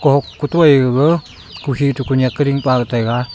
kok kotoi gaga kukhi tu kunyak ke ringpaga taiga .